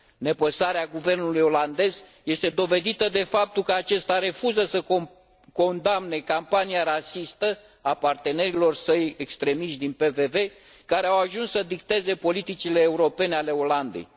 Nepăsarea guvernului olandez este dovedită de faptul că acesta refuză să condamne campania rasistă a partenerilor săi extremiști din PVV, care au ajuns să dicteze politicile europene ale Olandei.